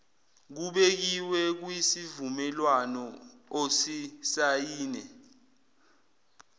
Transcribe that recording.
kubekiwe kwisivumelwano osisayine